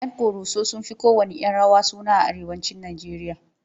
Yan ƙoroso sun fi kowanne 'yan rawa suna a arewacin Najeriya.